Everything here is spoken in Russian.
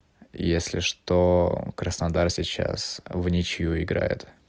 если что краснодар сейчас вничью играет